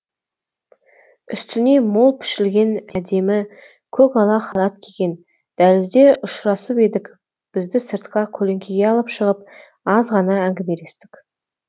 үстіне мол пішілген әдемі көк ала халат киген дәлізде ұшырасып едік бізді сыртқа көлеңкеге алып шығып азғана әңгімелестік